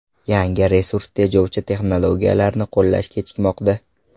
Yangi, resurs tejovchi texnologiyalarni qo‘llash kechikmoqda.